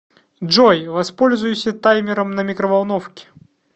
джой воспользуйся таймером на микроволновке